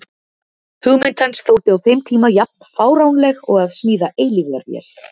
Hugmynd hans þótti á þeim tíma jafn fáránleg og að smíða eilífðarvél.